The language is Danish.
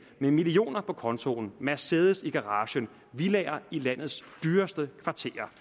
med millioner på kontoen mercedes i garagen villaer i landets dyreste kvarterer